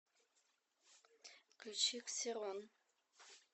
включи ксерон